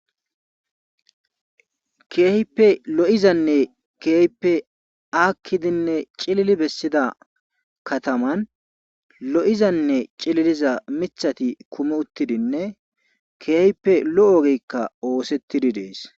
Keehippe lo7izanne keehippe aakkidinne cilili bessida kataman lo7izanne cililizaa mithati kumi uttidinne keehippe lo7o ogeykka oosettidi dees.